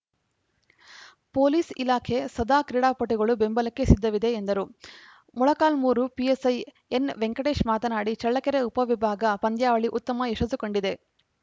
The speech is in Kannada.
ಪೊಲೀಸ್‌ ಇಲಾಖೆ ಸದಾಕ್ರೀಡಾಪಟುಗಳ ಬೆಂಬಲಕ್ಕೆ ಸಿದ್ದವಿದೆ ಎಂದರು ಮೊಳಕಾಲ್ಮೂರು ಪಿಎಸ್‌ಐ ಎನ್‌ವೆಂಕಟೇಶ್‌ ಮಾತನಾಡಿ ಚಳ್ಳಕೆರೆ ಉಪವಿಭಾಗ ಪಂದ್ಯಾವಳಿ ಉತ್ತಮ ಯಶಸ್ಸುಕಂಡಿದೆ